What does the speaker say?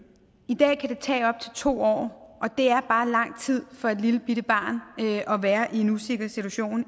i dag kan det tage op til to år og det er bare lang tid for et lillebitte barn at være i en usikker situation